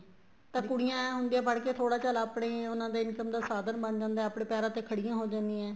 ਤਾਂ ਕੁੜੀਆਂ ਹੁੰਦੀਆਂ ਪੜਕੇ ਥੋੜਾ ਚੱਲ ਆਪਣੇ ਉਹਨਾ ਦੇ income ਦਾ ਸਾਧਨ ਬਣ ਜਾਂਦਾ ਏ ਆਪਣੇ ਪੈਰਾ ਤੇ ਖੜੀਆਂ ਹੋ ਜਾਣੀਆਂ ਏ